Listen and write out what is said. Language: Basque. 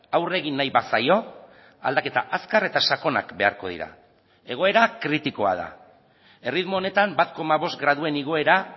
aurre egin nahi bazaio aldaketa azkar eta sakonak beharko dira egoera kritikoa da erritmo honetan bat koma bost graduen igoera